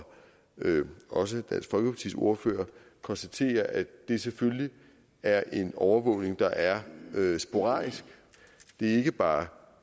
også dansk folkepartis ordfører konstaterer at det selvfølgelig er en overvågning der er sporadisk det er ikke bare